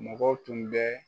Mɔgɔw tun bɛ